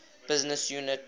business unit